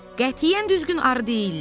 Qətiyyən düzgün arı deyillər.